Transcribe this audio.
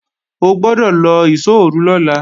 O gbọ́dọ̀ lọ ìṣóòru lọ́la!